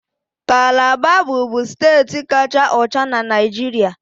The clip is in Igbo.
Calabar bụbu steeti kacha ọcha na Naịjirịa